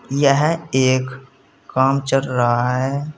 यह एक काम चल रहा है।